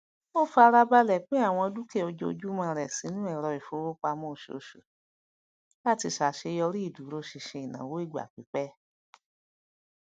ó fárabalẹ pín àwọn dúkìá ojoojúmọ rẹ sínú èrò ìfowopamọ oṣooṣù láti ṣàṣeyọrí ìdúrósinṣin ìnáwó ìgbà pípẹ